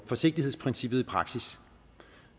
forsigtighedsprincippet i praksis